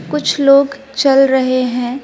कुछ लोग चल रहे हैं।